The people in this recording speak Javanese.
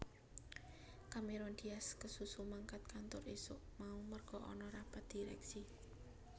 Cameron Diaz kesusu mangkat kantor isuk mau merga ana rapat direksi